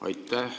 Aitäh!